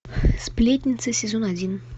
сплетница сезон один